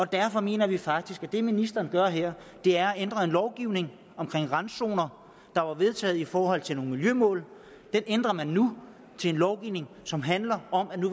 derfor mener vi faktisk at det ministeren gør her er at ændre en lovgivning om randzoner der var vedtaget i forhold til nogle miljømål den ændrer man nu til en lovgivning som handler om